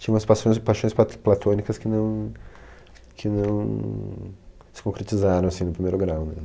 Tinha umas passões, paixões plat platônicas que não, que não se concretizaram assim no primeiro grau.